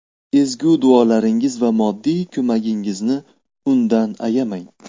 Ezgu duolaringiz va moddiy ko‘magingizni undan ayamang.